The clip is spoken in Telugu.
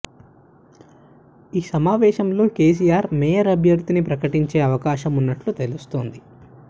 ఈ సమావేశంలో కేసీఆర్ మేయర్ అభ్యర్ధిని ప్రకటించే అవకాశం ఉన్నట్లు తెలుస్తోంది